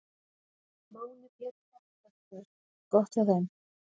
Máni Pétursson, útvarpsmaður: Gott hjá þeim.